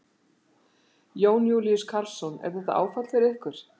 Jón Júlíus Karlsson: Er þetta áfall fyrir ykkur?